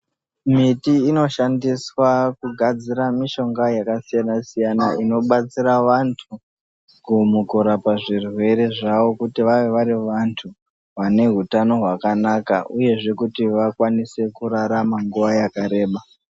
Miti inoshandiswa kugadzira mishonga yakasiyana siyana inobatsira vantu mukurapa zvirwere zvavo kuti vave varivandu vane hutano hwakanaka uyezve kuti vakwanise kurarama nguva yakareba.